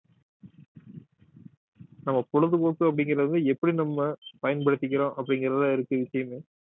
நம்ம பொழுதுபோக்கு அப்படிங்கிறது எப்படி நம்ம பயன்படுத்திக்கிறோம் அப்படிங்கிறதுதான் இருக்கு விஷயமே